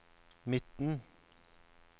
midten